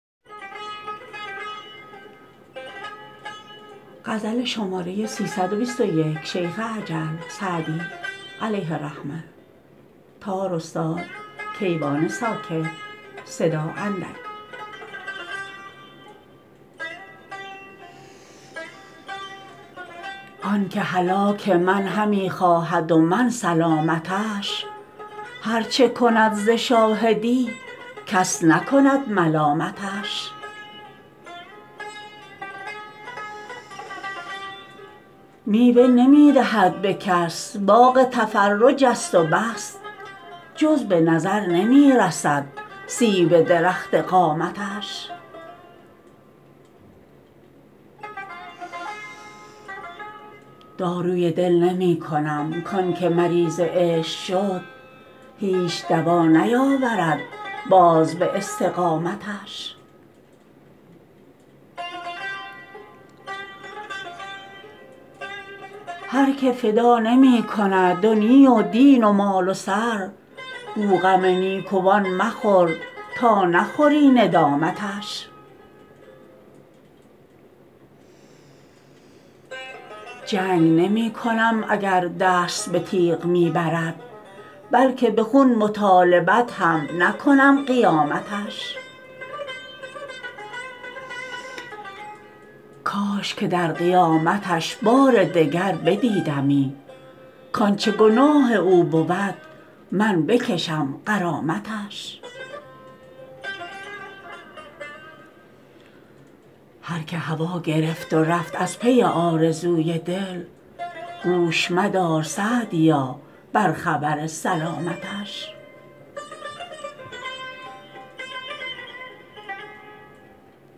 آن که هلاک من همی خواهد و من سلامتش هر چه کند ز شاهدی کس نکند ملامتش میوه نمی دهد به کس باغ تفرج است و بس جز به نظر نمی رسد سیب درخت قامتش داروی دل نمی کنم کان که مریض عشق شد هیچ دوا نیاورد باز به استقامتش هر که فدا نمی کند دنیی و دین و مال و سر گو غم نیکوان مخور تا نخوری ندامتش جنگ نمی کنم اگر دست به تیغ می برد بلکه به خون مطالبت هم نکنم قیامتش کاش که در قیامتش بار دگر بدیدمی کانچه گناه او بود من بکشم غرامتش هر که هوا گرفت و رفت از پی آرزوی دل گوش مدار _سعدیا- بر خبر سلامتش